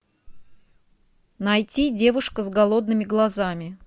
найти девушка с голодными глазами